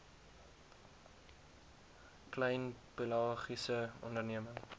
klein pelagiese onderneming